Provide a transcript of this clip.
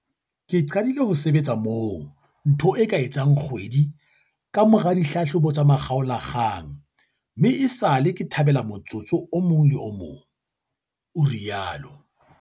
"Ke qadile ho sebetsa moo ntho e ka etsang kgwedi kamora ditlhahlobo tsa makgaolakgang mme esale ke thabela motsotso o mong le o mong," o rialo.